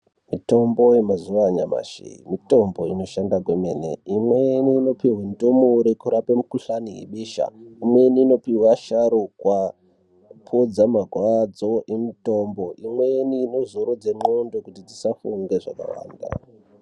Mitombo yemazuwa anyamashi, mitombo inoshanda kwemene. Imweni inopuwa hundumure kurape mikhuhlani yebesha, imweni inopuwa asharuka kupfuudza marwadzo emitombo, imweni inodzorodza ndxondo kuti dzisafunga zvakawanda.